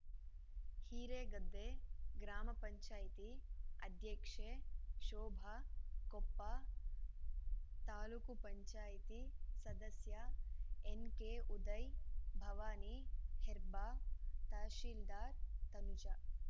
ಹಿರೇಗದ್ದೆ ಗ್ರಾಮ ಪಂಚಾಯತಿ ಅಧ್ಯಕ್ಷೆ ಶೋಭ ಕೊಪ್ಪ ತಾಲೂಕ್ ಪಂಚಾಯತಿ ಸದಸ್ಯ ಎನ್‌ಕೆಉದಯ್‌ ಭವಾನಿ ಹೆಬ್ಬಾರ್‌ ತಹಶೀಲ್ದಾರ್‌ ತನುಜ